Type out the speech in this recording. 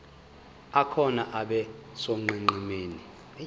akhona abe sonqenqemeni